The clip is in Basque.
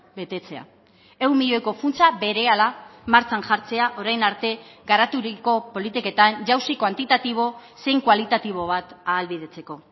betetzea ehun milioiko funtsa berehala martxan jartzea orain arte garaturiko politiketan jauzi kuantitatibo zein kualitatibo bat ahalbidetzeko